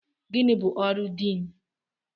Gịnị bụ ọrụ Diin?